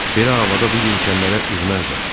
Belə havada bu yelkənlərə üzməzdən.